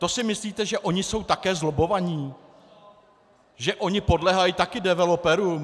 To si myslíte, že oni jsou také zlobbovaní, že oni podléhají také developerům?